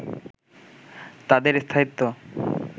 তাদের স্থায়িত্ব